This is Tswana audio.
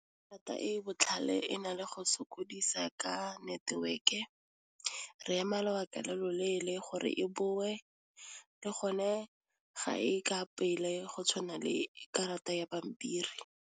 Karata e botlhale e na le go sokodisa ka network-e, re ema lobaka lo loleele gore e boe le gone ga e ka pele go tshwana le karata ya pampiri.